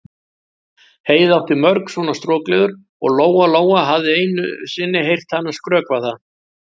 Heiða átti mörg svona strokleður og Lóa-Lóa hafði einu sinni heyrt hana skrökva að